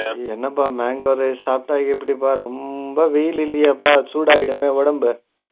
என்னப்பா mango rice சாப்ட்ட எப்பிடிப்பா ரொம்ப வெயில் இல்லையாப்பா சுடாகிடுமே உடம்பு